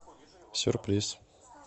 сюрприз